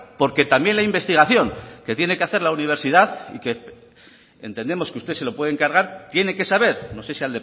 porque también la investigación que tiene que hacer la universidad y que entendemos que usted se lo puede encargar tiene que saber no sé si